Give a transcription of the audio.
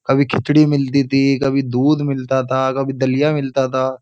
कभी खिचड़ी मिलती थी कभी दूध मिलता था कभी दलिया मिलता था।